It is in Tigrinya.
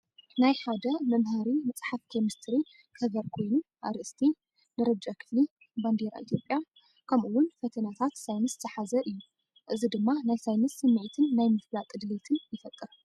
ናይ ሓደ መምሃሪ መጽሓፍ ኬሚስትሪ ገበር ኮይኑ፡ ኣርእስቲ፡ ደረጃ ክፍሊ፡ ባንዴራ ኢትዮጵያ፡ ከምኡ’ውን ፈተነታት ሳይንስ ዝሓዘ እዩ። እዚ ድማ ናይ ሳይንስ ስምዒትን ናይ ምፍላጥ ድሌትን ይፈጥር።